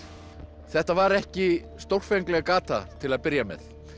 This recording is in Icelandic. þetta var ekki stórfengleg gata til að byrja með